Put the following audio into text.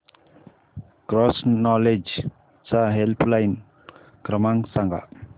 cross knowledge चा helpline क्रमांक सांगा